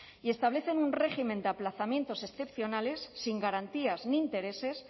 y establecen un régimen de aplazamientos excepcionales sin garantías ni intereses